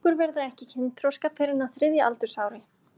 Krákur verða ekki kynþroska fyrr en á þriðja aldursári.